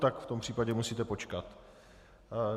Tak v tom případě musíte počkat.